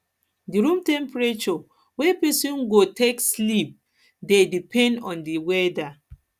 di room temperature wey person go wey person go take sleep dey depend on di weather